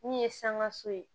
Min ye sangaso ye